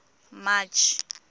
march